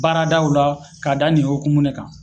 Baaradaw la k'a da nin hokumu de kan